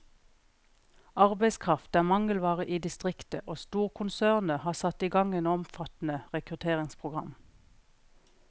Arbeidskraft er mangelvare i distriktet, og storkonsernet har satt i gang et omfattende rekrutteringsprogram.